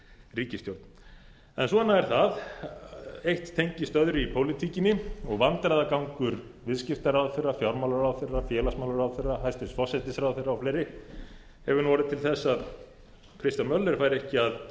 ríkisstjórn en svona er það eitt tengist öðru í pólitíkinni og vandræðagangur viðskiptaráðherra fjármálaráðherra félagsmálaráðherra hæstvirtur forsætisráðherra o fl hefur nú orðið til þess að kristján möller fær ekki að